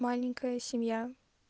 маленькая семья